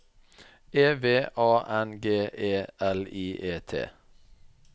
E V A N G E L I E T